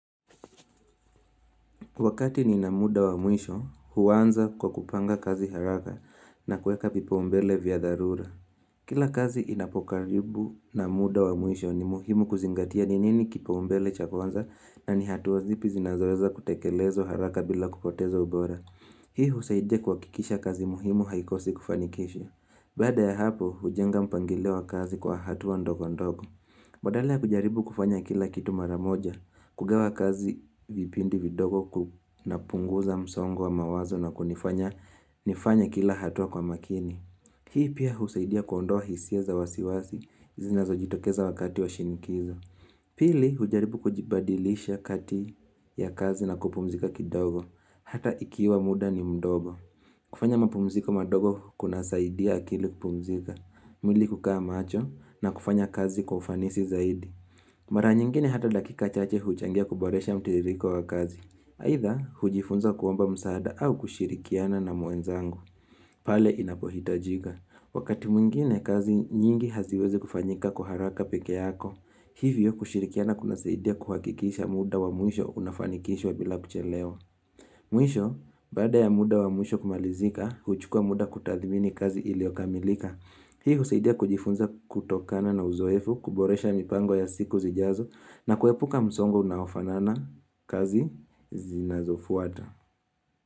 Wakati ninamuda wa mwisho, huanza kwa kupanga kazi haraka na kuweka vipaombele vya darura. Kila kazi inapokaribu na muda wa mwisho ni muhimu kuzingatia ni nini kipaombele cha kwanza na ni hatua zipi zinazoweza kutekelezwa haraka bila kupoteza ubora. Hii husaidia kuhakikisha kazi muhimu haikosi kufanikisha. Baada ya hapo, hujenga mpangilio wa kazi kwa hatua ndogo ndogo. Badala kujaribu kufanya kila kitu maramoja, kugawa kazi vipindi vidogo na kupunguza msongo wa mawazo na kunifanya kila hatua kwa makini. Hii pia husaidia kuondoa hisia za wasiwasi, zinazojitokeza wakati wa shinikizo. Pili hujaribu kujibadilisha kati ya kazi na kupumzika kidogo, hata ikiwa muda ni mdogo. Kufanya mapumziko madogo kunasaidia akili kupumzika, mwili hukaa macho na kufanya kazi kwa ufanisi zaidi. Mara nyingine hata dakika chache huchangia kuboresha mtiririko wa kazi. Aidha, hujifunza kuomba msaada au kushirikiana na mwenzangu, pale inapohitajika. Wakati mwingine kazi nyingi haziwezi kufanyika kwa haraka pekee yako. Hivyo kushirikiana kunasaidia kuhakikisha muda wa mwisho unafanikishwa bila kuchelewa. Mwisho, baada ya muda wa mwisho kumalizika, huchukua muda kutathimini kazi iliokamilika. Hii husaidia kujifunza kutokana na uzoefu, kuboresha mipango ya siku zijazo, na kuepuka msongo unaofanana kazi zinazofuata.